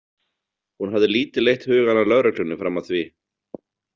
Hún hafði lítið leitt hugann að lögreglunni fram að því.